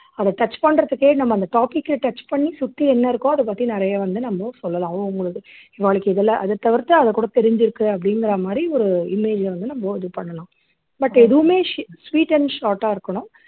அதை touch பண்றதுக்கே நம்ம அந்த topic அ touch பண்ணி சுத்தி என்ன இருக்கோ அதைப் பத்தி நிறைய வந்து நம்ம சொல்லலாம் அவங்கவங்களுக்கு நாளைக்கு இதுல அதைத் தவிர்த்து அதைக்கூட தெரிஞ்சிருக்கு அப்படிங்கிற மாதிரி ஒரு image அ வந்து நம்ம இது பண்ணலாம் but எதுவுமே sw sweet and short ஆ இருக்கணும்